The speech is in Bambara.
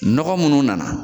Nɔgɔ munnu nana